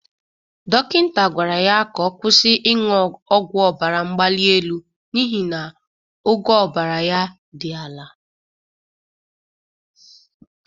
Dokịnta gwara ya ka ọ kwụsï ịṅụ ọgwụ ọbara mgbali elu n' ihi na ogo ọbara ya dị ala.